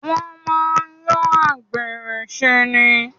Wọ́n máa ń yọ àgbèrè ṣe ni.